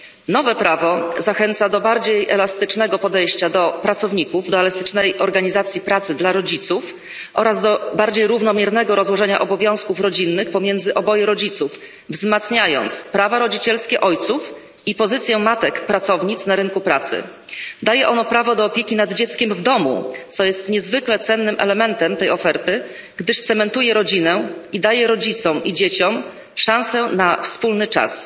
Nowe prawo zachęca do bardziej elastycznego podejścia do pracowników, do elastycznej organizacji pracy dla rodziców oraz do bardziej równomiernego rozłożenia obowiązków rodzinnych pomiędzy oboje rodziców, wzmacniając prawa rodzicielskie ojców i pozycję matek pracownic na rynku pracy. Daje ono prawo do opieki nad dzieckiem w domu, co jest niezwykle cennym elementem tej oferty, gdyż cementuje rodzinę i daje rodzicom i dzieciom szansę na wspólny czas.